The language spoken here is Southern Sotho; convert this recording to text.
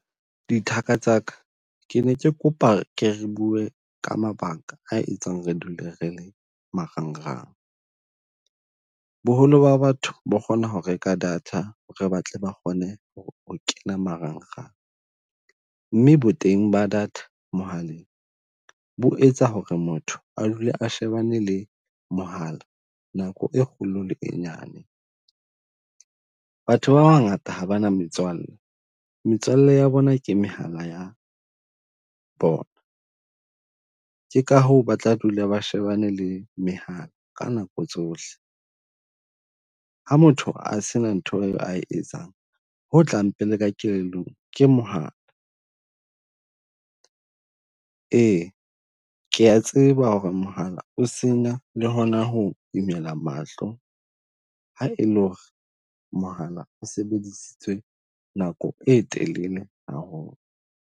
Dithaka tsa ka ke ne ke kopa ke re bue ka mabaka a etsang re dule re le marangrang. Boholo ba batho ba kgona ho reka data re batle ba kgone ho kena marangrang. Mme boteng ba data mohaleng bo etsa ho re motho a dula a shebane le mohala nako e kgolo le e nyane. Batho ba bangata ha bana, metswalle, metswalle ya bona ke mehala ya bona, ke ka hoo ba tla dula ba shebane le mehala ka nako tsohle. Ha motho a se na ntho eo a e etsang ho tlang pele ka kelellong ke mohala, ee ke ya tseba ho re mohala o senya le hona ho imela mahlo. Ha e le ho re mohala o sebedisitse nako e telele haholo.